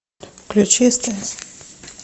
включи стс